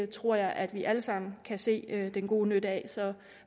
tror jeg at vi alle sammen kan se den gode nytte af så